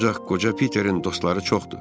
Ancaq qoca Piterin dostları çoxdur.